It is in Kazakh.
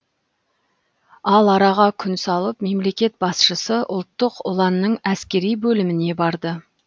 ал араға күн салып мемлекет басшысы ұлттық ұланның әскери бөліміне барды